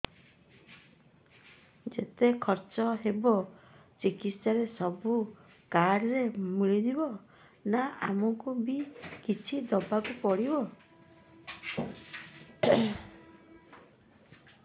ଯେତେ ଖର୍ଚ ହେବ ଚିକିତ୍ସା ରେ ସବୁ କାର୍ଡ ରେ ମିଳିଯିବ ନା ଆମକୁ ବି କିଛି ଦବାକୁ ପଡିବ